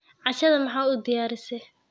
cashada maxa udiyarise